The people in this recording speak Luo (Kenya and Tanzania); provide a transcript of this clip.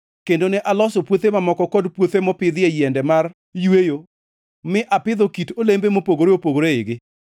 Kendo ne aloso puothe mamoko kod puothe mopidhie yiende mar yweyo mi apidho kit olembe mopogore opogore eigi.